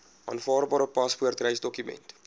aanvaarbare paspoort reisdokument